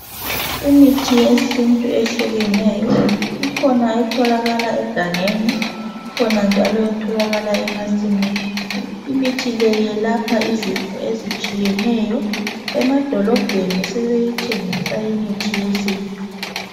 Imithi yesintu ehlukeneyo .Ikhona etholakala egangeni .Ikhona njalo etholakala emasimini . Imithi le iyelapha izifo ezitshiyeneyo .Emadolobheni sebeyithengisa imithi yesintu.